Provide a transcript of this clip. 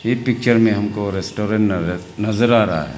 ये पिक्चर में हमको रेस्टोरेंट नजर आ रहा है।